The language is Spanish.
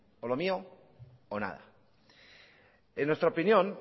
o lo mío o nada en nuestra opinión